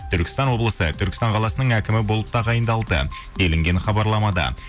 түркістан облысы түркістан қаласының әкімі болып тағайындалды делінген хабарламада